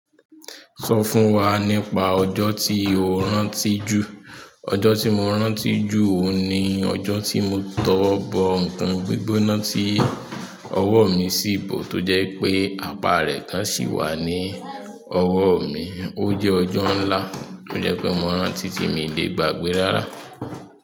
Sọ fún wa nípa ọjọ́ tí o rántí jù. Ọjọ́ tí mo rántí jù oun ni ọjọ́ tí mo tọwọ́ bọ ǹnkan gbígbona tí ọwọ́ mi sì bò tó jẹ́ pé apá rẹ̀ kan sì wà ní ọwọ́ mi. Ó jẹ́ ọjọ ńlá kí ó jẹ́ pé mo rántí tí mi le gbàgbé rárá.